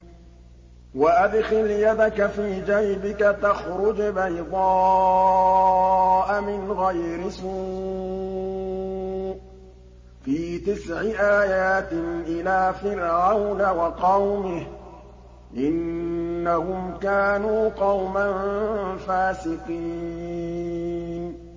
وَأَدْخِلْ يَدَكَ فِي جَيْبِكَ تَخْرُجْ بَيْضَاءَ مِنْ غَيْرِ سُوءٍ ۖ فِي تِسْعِ آيَاتٍ إِلَىٰ فِرْعَوْنَ وَقَوْمِهِ ۚ إِنَّهُمْ كَانُوا قَوْمًا فَاسِقِينَ